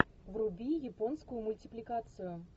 вруби японскую мультипликацию